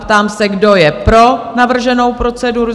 Ptám se, kdo je pro navrženou proceduru?